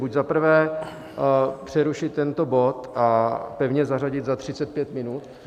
Buď zaprvé přerušit tento bod a pevně zařadit za 35 minut.